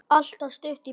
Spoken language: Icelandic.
Alltaf stutt í brosið.